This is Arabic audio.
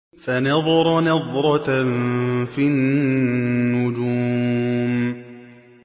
فَنَظَرَ نَظْرَةً فِي النُّجُومِ